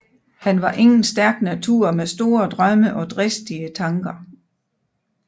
Han var ingen stærk natur med store drømme og dristige tnker